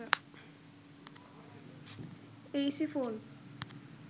Aisi phone